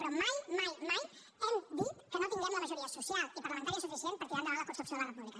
però mai mai mai hem dit que no tinguem la majoria social i parlamentària suficient per tirar endavant la construcció de la república